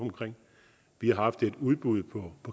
vi har haft et udbud på